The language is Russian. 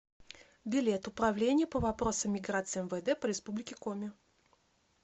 билет управление по вопросам миграции мвд по республике коми